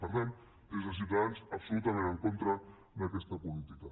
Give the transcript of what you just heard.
per tant des de ciutadans absolutament en contra d’aquesta política